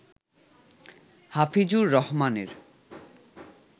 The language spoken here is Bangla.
হাফিজুর রহমানের